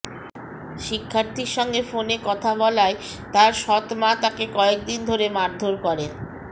শিক্ষার্থীর সঙ্গে ফোনে কথা বলায় তার সৎ মা তাকে কয়েকদিন ধরে মারধর করে